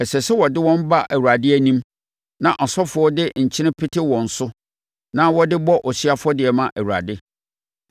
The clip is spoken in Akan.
Ɛsɛ sɛ wode wɔn ba Awurade anim, na asɔfoɔ de nkyene pete wɔn so na wɔde bɔ ɔhyeɛ afɔdeɛ ma Awurade.